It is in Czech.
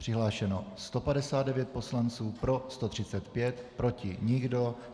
Přihlášeno 159 poslanců, pro 135, proti nikdo.